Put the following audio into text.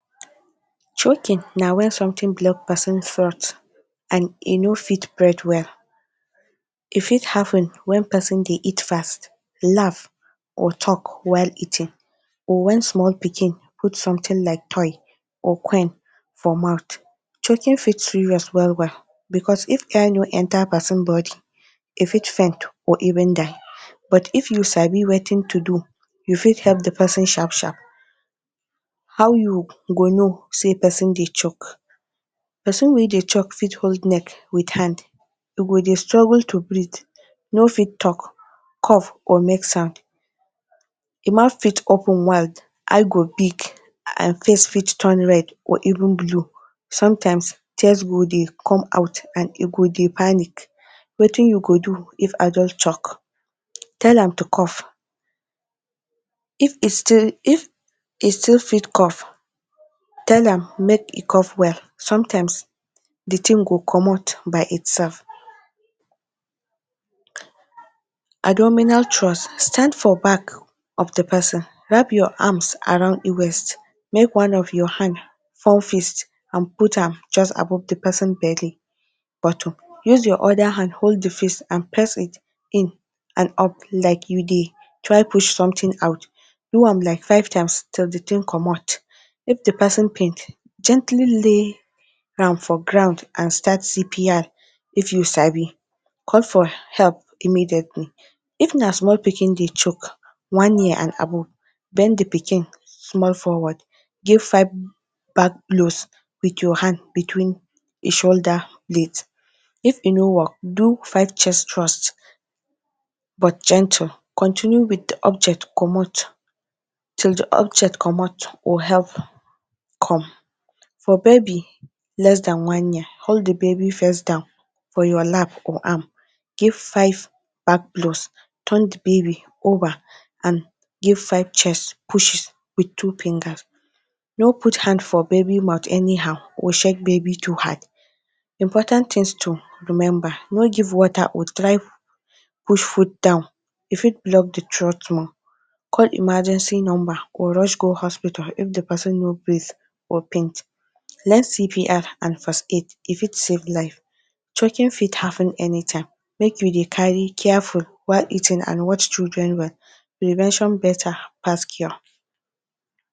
Choking na when something block person throat and e no fit breath well. E fit happen when person dey eat fast, laugh or talk while eating, or when small pikin put something like toy or for mouth. Choking fit serious well well because if air no enter person body, e fit faint or even die. But if you sabi wetin to do, you fit help the person sharp sharp. How you go know sey person dey choke? Person wey dey choke fit hold neck with hand. E go de dey struggle to breath, no fit talk, cough or make sound. E mouth fit open wide, eye go big and face fit turn red or even blue. Sometimes, tears go dey come out and e go dey panic. Wetin you go do if adult choke? Tell am to cough. If e still if e still fit cough, tell am make e cough well. Sometimes, the thing go comot by itself. Abdominal thrust: Stand for back of the person, wrap your arms around im waist. Make one of your hand form fist and put am just above the person belly button. Use your other hand hold the face and press it in and up like you dey try push something out. Do am like five times till the thing comot. If the person faint, gently lay am for ground and start CPR if you sabi. Call for help immediately. Even as small pikin dey choke, one year and above, bend the pikin small forward. Give five back blows with your hand between the shoulder. If e no work, do five chest thrust, but gentle. Continue with the object comot till the object comot or help come. For baby less than one year, hold the baby first down for your lap or arm, give five back blows, turn the baby over and give five chest push with two finger. No put hand for baby mouth anyhow or shake baby too hard. Important things to remember: No give water or try push food down, e fit block the throat more. Call emergency number or rush go hospital if the person no breath or. Learn CPR or first aid, e fit save life. Choking fit happen anytime. Make you dey careful while eating and watch children well. Prevention better pass cure.